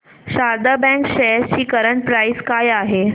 Sharda bank shares ची current price काय आहे